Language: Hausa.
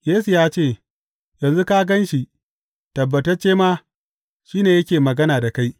Yesu ya ce, Yanzu ka gan shi; tabbatacce ma, shi ne yake magana da kai.